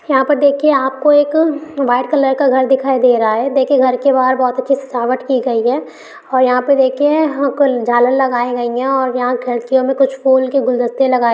यहाँ पर देखिए आपको एक वाइट कलर का घर दिखाई दे रहा है देखिए घर के बाहर बहोत अच्छी सजावट की गई है और यहाँ पर देखिए झालर लगाई गई है और यहाँ घर के अंदर कुछ फूल के गुलदस्ते लगाये -----